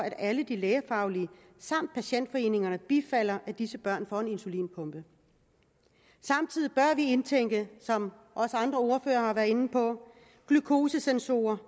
at alle lægefaglige samt patientforeningerne bifalder at disse børn får en insulinpumpe samtidig bør vi indtænke som også andre ordførere har været inde på glukosesensorer